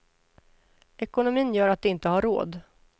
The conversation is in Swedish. Ekonomin gör att de inte har råd.